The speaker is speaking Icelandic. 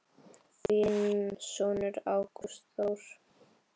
Þinn sonur Ágúst Þór.